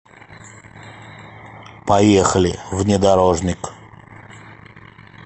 поехали внедорожник